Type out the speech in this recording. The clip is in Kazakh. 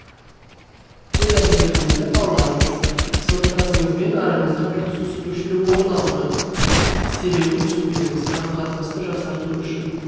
өз әрекетіңізді талдаңыз сыныптасыңызбен араңызда бір түсініспеушілік орын алды сіз себебін түсінбедіңіз қарым қатынасты жақсарту үшін